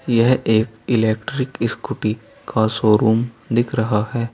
यह एक electric scooty का शोरूम दिख रहा है।